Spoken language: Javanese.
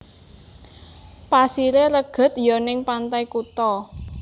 Pasire reged yo ning Pantai Kuta